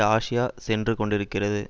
Asia சென்று கொண்டிருக்கிறது